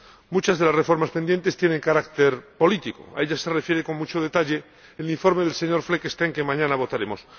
Muchas de las reformas pendientes tienen carácter político. A ellas se refiere con mucho detalle el informe del señor Fleckenstein que mañana votaremos.